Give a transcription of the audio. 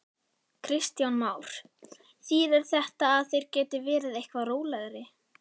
Kristján Már: Þýðir þetta að þeir geti verið eitthvað rólegri?